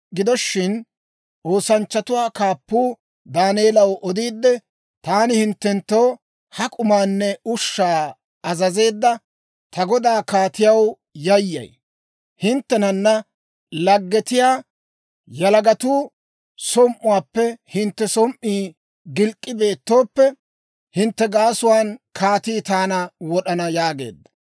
Gido shin, oosanchchatuwaa kaappuu Daaneelaw odiidde, «Taani hinttenttoo ha k'umaanne ushshaa azazeedda ta godaa kaatiyaw yayyay. Hinttenana laggetiyaa yalagatuu som"uwaappe hintte som"ii gilk'k'i beettooppe, hintte gaasuwaan kaatii taana wod'ana» yaageedda.